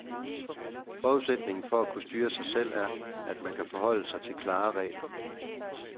Forudsætningen for at kunne styre sig selv er, at man kan forholde sig til klare regler.